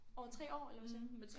Over 3 år eller hvad siger du